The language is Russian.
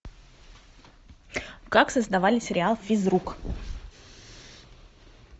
как создавали сериал физрук